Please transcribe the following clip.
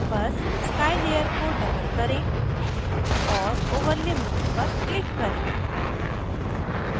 बस sky layer को double करें और over lay mode पर क्लिक करें